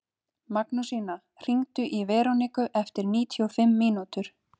Magnúsína, hringdu í Veroniku eftir níutíu og fimm mínútur.